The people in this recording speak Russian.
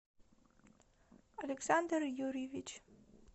александр юрьевич